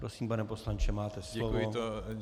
Prosím, pane poslanče, máte slovo.